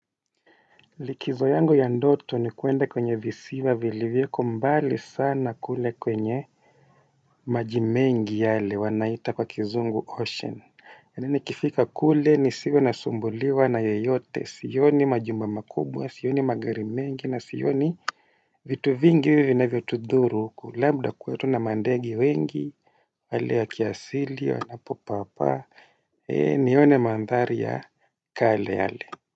Likizo yangu ya ndoto ni kwenda kwenye visiwa vilivyoko mbali sana kule kwenye majimengi yale wanaita kwa kizungu ocean yani nikifika kule nisiwe nasumbuliwa na yoyote sioni majumba makubwa sioni magari mengi na sioni vitu vingi vinavyo tudhuru labda kuwe tu na mandege wengi hali ya kiasili wanapo paa paa nione mandhari ya kale yale.